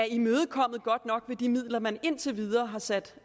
imødekommet godt nok med de midler man indtil videre har sat